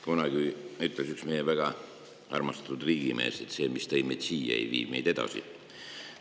Kunagi ütles üks meie väga armastatud riigimees, et see, mis tõi meid siia, ei vii meid edasi.